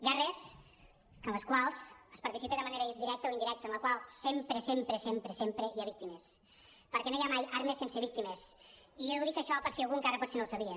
guerres en les quals es participa de manera directa o indirecta en les quals sempre sempre sempre hi ha víctimes perquè no hi ha mai armes sense víctimes i ho dic això per si algú encara potser no ho sabia